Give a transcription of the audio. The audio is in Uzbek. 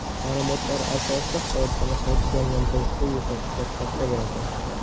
Ma’lumotlar asosida hodisani qayta jonlantirishda yo‘qotishlar katta bo‘ladi.